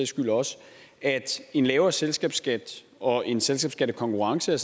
skyld også at en lavere selskabsskat og en selskabsskattekonkurrence